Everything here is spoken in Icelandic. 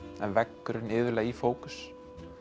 en veggurinn iðulega í fókus